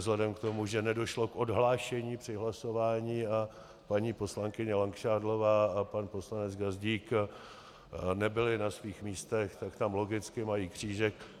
Vzhledem k tomu, že nedošlo k odhlášení při hlasování a paní poslankyně Langšádlová a pan poslanec Gazdík nebyli na svých místech, tak tam logicky mají křížek.